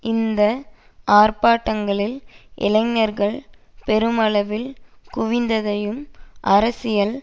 இந்த ஆர்ப்பாட்டங்களில் இளைஞர்கள் பெருமளவில் குவிந்ததையும் அரசியல்